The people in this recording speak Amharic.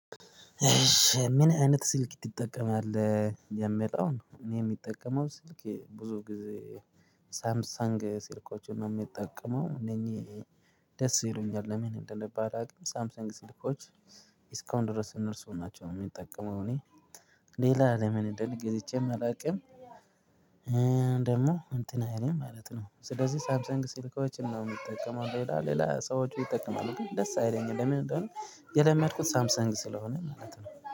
ምን አይነት ስልክ ትጠቀማለህ? የሚለ ውን እኔ የምጠቀመው ስልክ ብዙ ጊዜ ሳምሳንግ ስልኮችን ነው የምጠቀመው እነኚህ ደስ ይሉኛል። ለምን እንደሆነባላውቅም ሳምሰንግ ስልኮች እስካሁን ድረስ እነርሱ ናቸው የምጠቀመው። እኔ ሌላ ለምን እንደሆነ ገዝቼም አላውቅም። ደግሞ እንትን አይልም ማለት ነው። ስለዚህ ሳምሰንግ ስልኮችን ነው የምጠቀመው። ሌላ ሌላ ሰዎች ይጠቀማሉ ግን ደስ አይለኝም ለምንድነው? የለመድኩት ሳምሰንግ ስለሆነ ማለት ነው